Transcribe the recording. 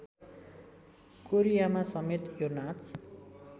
कोरियामासमेत यो नाच